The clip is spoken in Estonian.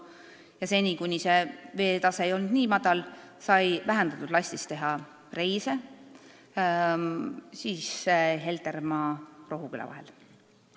Ja seni, kuni see veetase ei olnud nii madal, sai vähendatud lastis teha reise Heltermaa ja Rohuküla vahel.